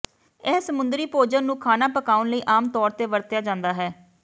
ਇਹ ਸਮੁੰਦਰੀ ਭੋਜਨ ਨੂੰ ਖਾਣਾ ਪਕਾਉਣ ਲਈ ਆਮ ਤੌਰ ਤੇ ਵਰਤਿਆ ਜਾਂਦਾ ਹੈ